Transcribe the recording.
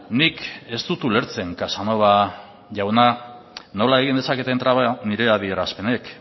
nik ez dut ulertzen casanova jauna nola egin dezaketen traba nire adierazpenek